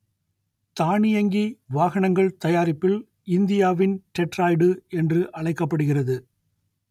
தானியங்கி வாகனங்கள் தயாரிப்பில் இந்தியாவின் டெட்ராய்டு என்று அழைக்கப்படுகிறது